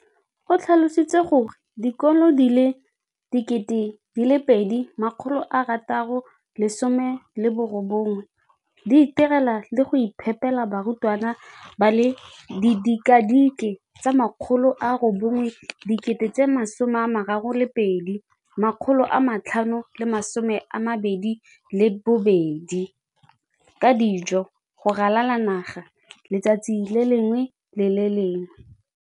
o tlhalositse gore dikolo di le 20 619 di itirela le go iphepela barutwana ba le 9 032 622 ka dijo go ralala naga letsatsi le lengwe le le lengwe.